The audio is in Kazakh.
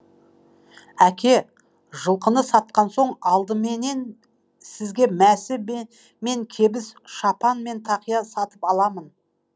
әке жылқыны сатқан соң алдыменен сізге мәсі мен кебіс шапан мен тақия сатып аламын